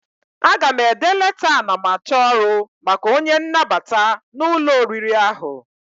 Aga m ede leta anamachọrụ maka onye nnabata n'ụlọ oriri ahụ.